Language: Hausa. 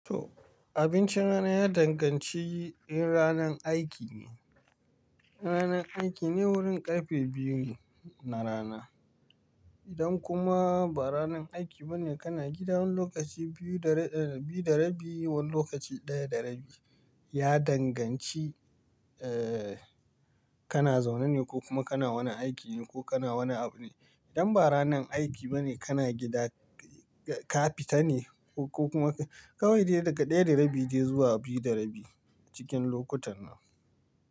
To abincin rana ya danganci in ranan aiki ne. Ranan aiki ne wurin karfe biyu ne na rana. Idan kuma ba ranan aiki bane kana gida wani lokaci biyu da rabi wani lokaci daya da rabi ya danganci eh kana zaune ne ko kuma kana wani aiki ne ko kana wani abu ne. Idan ba ranan aiki bane kana gida ka fita ne ko kuma kawai daga daya da rabi sai biyu da rabi cikin lokutan nan.